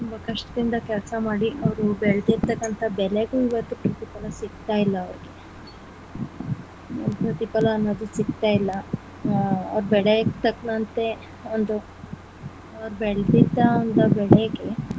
ಕಷ್ಟದಿಂದ ಕೆಲಸ ಮಾಡಿ ಅವ್ರು ಬೆಳೆದಿರ್ತಕ್ಕಂಥ ಬೆಳೆಗೂ ಇವತ್ತು ಪ್ರತಿಫಲ ಸಿಗ್ತಾ ಇಲ್ಲ ಅವರಿಗೆ ಪ್ರತಿಫಲ ಅನ್ನೋದು ಸಿಗ್ತಾ ಇಲ್ಲ ಅವ್ರು ಬೆಳೆಗೆ ತಕ್ನಂತೆ ಒಂದು ಅವ್ರು ಬೆಳೆದಿರ್ತಕ್ಕಂಥ ಬೆಳೆಗೆ.